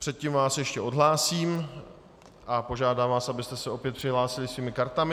Předtím vás ještě odhlásím a požádám vás, abyste se opět přihlásili svými kartami.